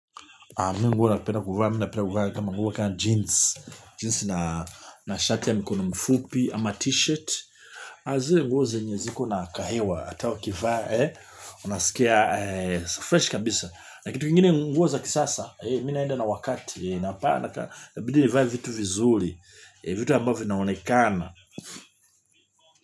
Mi nguo napenda kuvaa mi napenda kuvaa kama nguo kama jeans na shati ya mikono mfupi ama t-shirt. Na zile nguo zenye ziko na kahewa hata ukivaa, unasikia freshi kabisa. Na kitu kingine nguo za kisasa mi naenda na wakati itabidi nivae vitu vizuri vitu ambavyo vinaonekana.